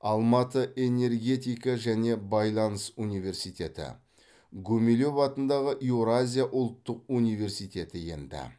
алматы энергетика және байланыс университеті гумилев атындағы еуразия ұлттық университеті енді